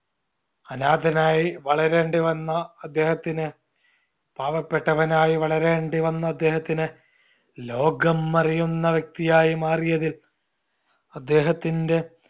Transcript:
അനാഥനായി വളരേണ്ടി വന്ന അദ്ദേഹത്തിന് പാവപ്പെട്ടവനായി വളരേണ്ടി വന്ന അദ്ദേഹത്തിന് ലോകം അറിയുന്ന വ്യക്തിയായി മാറിയതിൽ അദ്ദേഹത്തിന്റെ